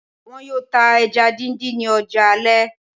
Wọn yóò tá ẹja díndín ní ọjà alẹ́